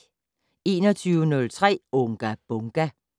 21:03: Unga Bunga!